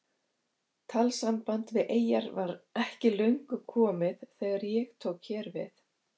Talsamband við eyjar var ekki löngu komið þegar ég tók hér við.